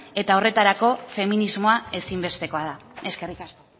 eta horretarako feminismoa ezin bestekoa da eskerrik asko